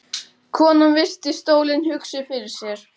Konan virti stólinn hugsi fyrir sér.